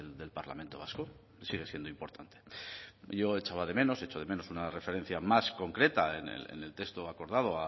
del parlamento vasco sigue siendo importante yo echaba de menos echo de menos una referencia más concreta en el texto acordado